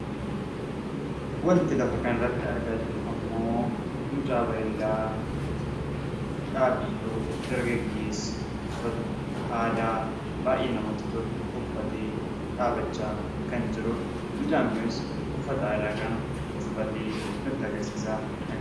wanti lafa kanarratti argaa jirru immoo mucaa bareedaa dhaabbii tolu dargaggeessa aadaa baay'ee namatti tolu uffatee dhaabbachaa kan jirudha. Mucaan kunis uffata aadaa kan uffatee nutti agarsiisaa kan jirudha.